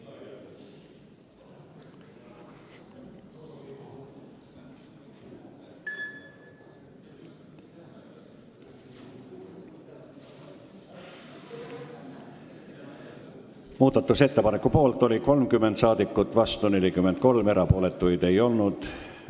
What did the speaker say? Hääletustulemused Muudatusettepaneku poolt oli 30 rahvasaadikut, vastu 43, erapooletuid ei olnud.